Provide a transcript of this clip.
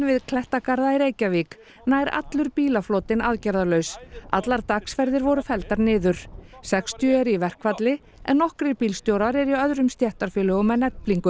við klettagarða í Reykjavík nær allur bílaflotinn aðgerðalaus allar dagsferðir voru felldar niður sextíu eru í verkfalli en nokkrir bílstjórar eru í öðrum stéttarfélögum en Eflingu